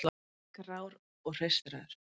Grár og hreistraður.